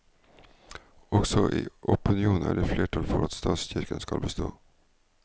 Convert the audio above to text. Også i opinionen er det flertall for at statskirken skal bestå.